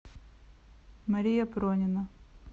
мария пронина